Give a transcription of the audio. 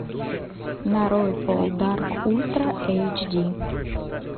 нарой пол дарк ультра эйч ди